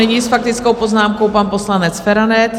Nyní s faktickou poznámkou pan poslanec Feranec.